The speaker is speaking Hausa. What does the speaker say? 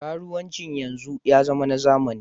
Karuwanci yanzu ya zama na zamani.